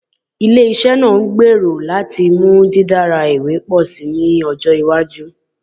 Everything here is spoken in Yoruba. Ile-iṣẹ naa ngbero lati mu didara iwe pọ si ni ọjọ iwaju